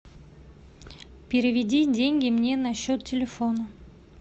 переведи деньги мне на счет телефона